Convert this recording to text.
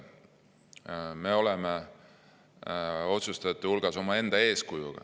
Me oleme otsustajate hulgas omaenda eeskujuga.